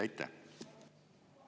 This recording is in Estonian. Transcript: Aitäh!